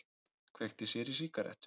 Kveikti sér í sígarettu.